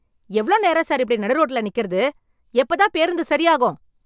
எவ்ளோ நேரம் சார் இப்படி நடு ரோட்ல நிக்கறது. எப்ப தான் பேருந்து சரியாகும்?